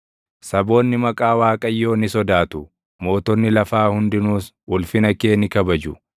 Saboonni maqaa Waaqayyoo ni sodaatu; mootonni lafaa hundinuus ulfina kee ni kabaju.